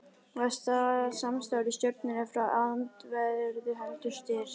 Var samstarfið í stjórninni frá öndverðu heldur stirt.